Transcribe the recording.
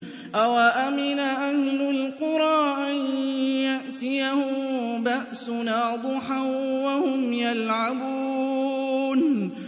أَوَأَمِنَ أَهْلُ الْقُرَىٰ أَن يَأْتِيَهُم بَأْسُنَا ضُحًى وَهُمْ يَلْعَبُونَ